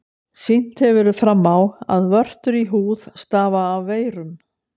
Sýnt hefur verið fram á, að vörtur í húð stafa af veirum.